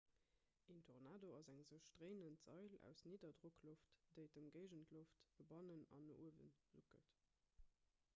en tornado ass eng sech dréinend sail aus nidderdrockloft déi d'ëmgéigendloft no bannen an no uewe suckelt